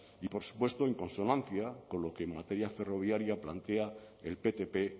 y por supuesto en consonancia con lo que en materia ferroviaria plantea el ptp